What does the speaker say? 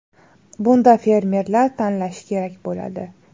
Bunda fermerlar tanlashi kerak bo‘ladi.